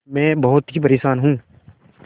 मैं बहुत ही परेशान हूँ